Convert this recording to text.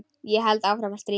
Ég held áfram að stríða.